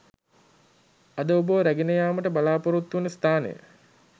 අද ඔබව රැගෙන යාමට බලාපොරොත්තුවන ස්ථානය